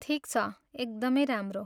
ठिक छ, एकदमै राम्रो।